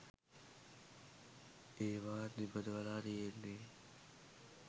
ඒවත් නිපදවලා තියෙන්නෙ